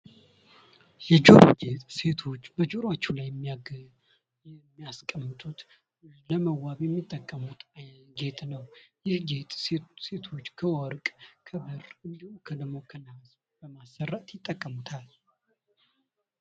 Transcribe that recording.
የጆሮ ሴቶች በጆሮአቸው ላይ የሚያስቀምጡት ለመዋብ የሚጠቀሙት ጌጥ ነው። ይህ ጌጥ ሴቶች ከወርቅ፣ ከብር እንዲሁም ደግሞ ከንሃስ በማሰራት ይጠቀሙታል።